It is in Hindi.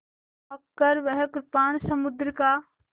चमककर वह कृपाण समुद्र का